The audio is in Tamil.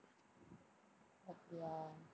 அப்படியா?